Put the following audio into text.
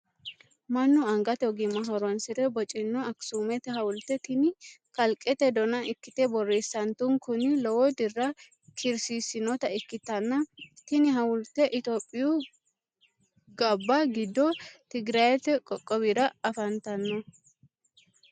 Manu angate ogimma horoonsire bocino akisuumete hawulte tinni qalqete Donna ikite boreessantunkunni lowo dirra kiirsiisinota ikiteenna tinni hawulte itophiyu Gabba gido tigirete qoqowira afantino.